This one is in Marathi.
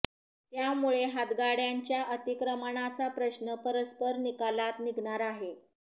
त्यामुळे हातगाड्यांच्या अतिक्रमणाचा प्रश्न परस्पर निकालात निघणार आहे